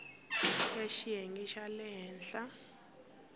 ya xiyenge xa le henhla